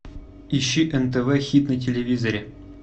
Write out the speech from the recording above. ищи нтв хит на телевизоре